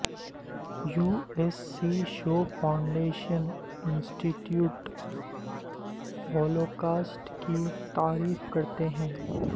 you S C Shoah Foundation Institute Holocaust کی تعریف کرتے ہیں